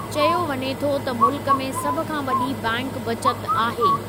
चयो वञे थो त मुल्कु में सभ खां वॾी बैंक बचति आहे।